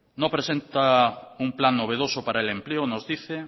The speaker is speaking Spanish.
no presenta un plan novedoso para el empleo nos dice